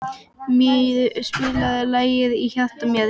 Mír, spilaðu lagið „Í hjarta mér“.